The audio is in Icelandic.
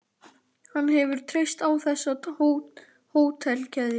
Hann hefur treyst á þessa hótelkeðju.